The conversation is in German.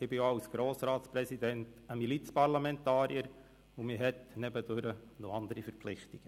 Ich bin auch als Grossratspräsident Milizparlamentarier und habe nebenbei noch andere Verpflichtungen.